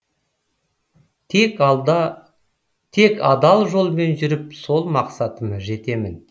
тек адал жолмен жүріп сол мақсатыма жетемін